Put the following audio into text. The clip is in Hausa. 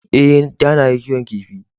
Ee, da na yi kiwon kifi.